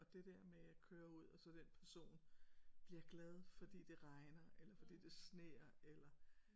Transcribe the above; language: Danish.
Og det der med at køre ud og så den person bliver glad fordi det regner eller fordi det sner eller